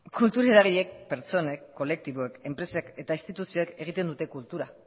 kultur eragileek pertsonek kolektiboek enpresek eta instituzioek egiten dute kultura